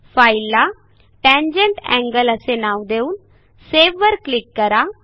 फाईलला tangent angle असे नाव देऊन सावे वर क्लिक करा